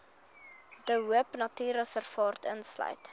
de hoopnatuurreservaat insluit